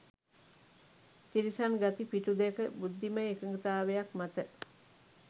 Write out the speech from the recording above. තිරිසන් ගති පිටු දැක බුද්ධිමය එකඟතාවයක් මත